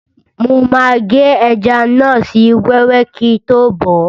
Mo máa gé ẹja náà sí wẹ́wẹ́ kíi tó bọ̀ọ́